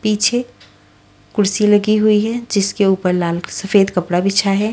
पीछे कुर्सी लगी हुई है जिसके ऊपर लाल सफेद कपड़ा बिछा है।